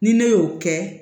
Ni ne y'o kɛ